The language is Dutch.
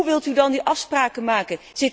Hoe wilt u dan die afspraken maken?